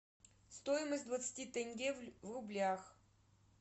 стоимость двадцати тенге в рублях